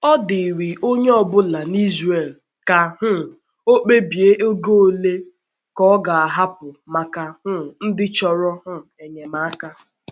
Ọ dịrị onye ọ̀bụ̀là n’Ìsràèl ka um ọ̀ kpebie ego òle ka ọ̀ ga-ahapụ maka um ndị chọ̀rò um enyemàka.